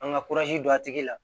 An ka don a tigi la